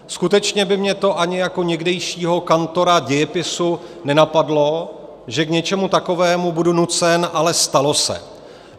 Skutečně by mě to ani jako někdejšího kantora dějepisu nenapadlo, že k něčemu takovému budu nucen, ale stalo se.